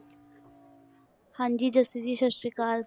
ਹਾਂਜੀ ਜਸਨ ਜੀ ਸਤਿ ਸ੍ਰੀ ਅਕਾਲ